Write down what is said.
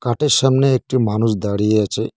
কাঠের সামনে একটি মানুষ দাঁড়িয়ে আছে।